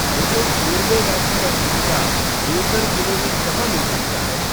मुझे कोर्बेवैक्स का टीका देवघर जिले में कहाँ मिल सकता है ?